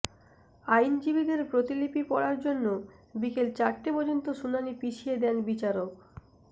আইনজীবীদের প্রতিলিপি পড়ার জন্য বিকেল চারটে পর্যন্ত শুনানি পিছিয়ে দেন বিচারক